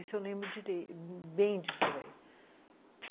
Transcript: Isso eu lembro direito, bem disso daí.